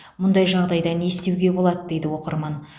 мұндай жағдайда не істеуге болады дейді оқырман